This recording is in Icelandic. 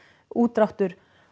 útdráttur